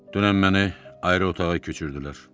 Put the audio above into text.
Dünən məni ayrı otağa köçürdülər.